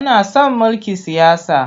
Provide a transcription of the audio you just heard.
Muna son mulkin siyasa.